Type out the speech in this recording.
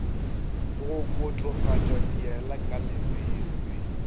go kotofatša diela ka lebese